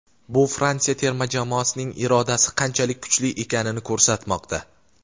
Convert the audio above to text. bu Fransiya terma jamoasining irodasi qanchalik kuchli ekanini ko‘rsatmoqda.